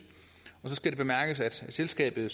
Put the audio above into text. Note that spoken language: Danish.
og så skal det bemærkes at selskabet